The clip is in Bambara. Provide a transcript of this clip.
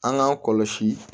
An k'an kɔlɔsi